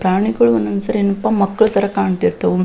ಪ್ರಾಣಿಗಳು ಒಂದ್ ಒಂದ್ಸರಿ ಏನಪ್ಪಾ ಮಕ್ಕಳ್ ತರ ಕಣ್ತಿರ್ತಾವು.